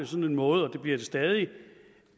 sådan måde og det bliver det stadig